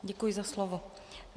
Děkuji za slovo.